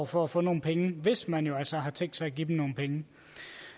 for at få nogle penge hvis man altså har tænkt sig at give dem nogle penge